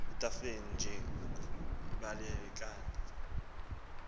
ethafeni nje uyibalekani